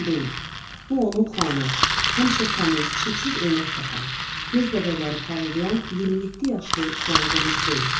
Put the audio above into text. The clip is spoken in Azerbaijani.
Bu onun Xuanı, həmişə təmiz, çiksiz eynək taxan, göz bəbəkləri parıldayan 27 yaşlı Xuan Qomes deyil.